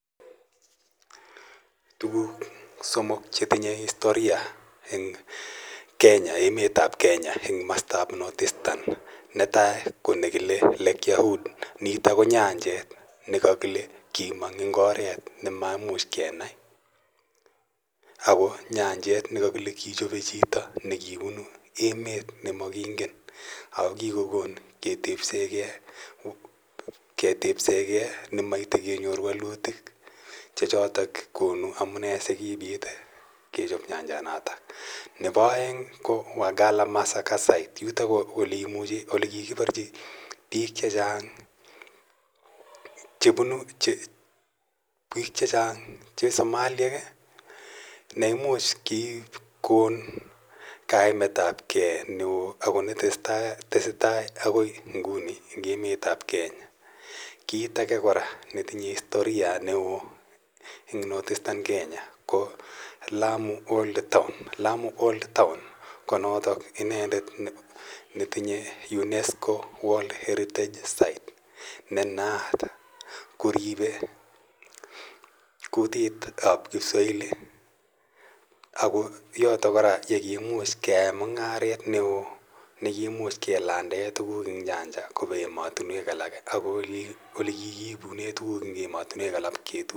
Tuguk somok che tinyei istoria eng Kenya, ' emet ap Kenya, komastap North Eastern. Netai ko ne kile Lake Yahud, nitok ko nyanjet ne kakile kimong' eng' oret ne makimuch kenai. Ako nyanjet ne kakile kichope chito ne kipunu emet ne makingen ako kikokon ketepse gei ne maite kenyor walutik che chotok amune si kiipit kechop nyanjanotok. Nepo aeng ko Wagala Massacre Site. Yutok ko ole kikiparchi piik che chang' che somaliek ne imuch kikon kaimet ap gei ako ne tese tai akoi inguni eng' emet ap Kenya. Kiit age kora netinye istoria neo eng North Eastern Kenya ko Lamu Old Town. Lamu Old Town ko notok inendet netinye Unesco World Heritage Site, ne naat koripei kutik ap Kiswahili ako yotok kora ye kiimuch keyae mung'aret ne oo ne kiimuch keladaen tuguk kopa ematunwek alak ako ole kiipune tuguuk eng ematunwek alak ip kitu.